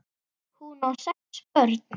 Hún á sex börn.